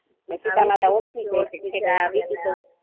સીતામાતા ઓળખી જાય છે વીંટી તો